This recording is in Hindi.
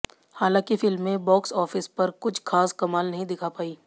हालांकि फिल्में बॅाक्स ऑफिस पर कुछ खास कमाल नहीं दिखा पाईं